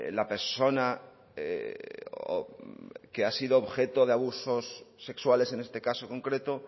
la persona que ha sido objeto de abusos sexuales en este caso concreto